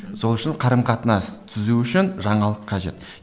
сол үшін қарым қатынас түзу үшін жаңалық қажет